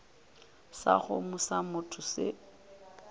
sa kgomo sa motho se